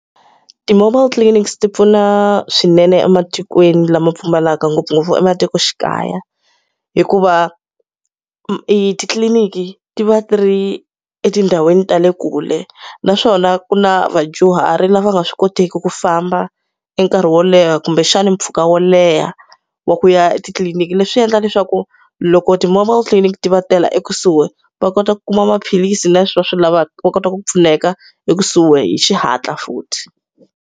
Ti-mobile clinics ti pfuna swinene ematikweni lama pfumalaka ngopfungopfu ematikoxikaya. Hikuva e titliliniki ti va ti ri etindhawini ta le kule, naswona ku na vadyuhari lava nga swi koteki ku famba e nkarhi wo leha kumbexani mpfhuka wo leha wa ku ya etitliliniki. Leswi endla leswaku loko ti-mobile clinic ti va tela ekusuhi, va kota ku kuma maphilisi na leswi va swi lavaka, va kota ku pfuneka ekusuhi hi xihatla futhi.